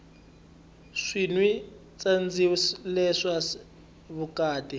swi nwi tsandzileswa vukati